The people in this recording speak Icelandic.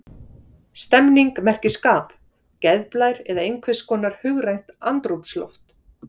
Stemning merkir skap, geðblær eða einhvers konar hugrænt andrúmsloft.